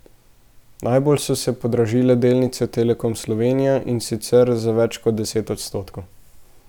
Najbolj so se podražile delnice Telekoma Slovenije, in sicer za več kot deset odstotkov.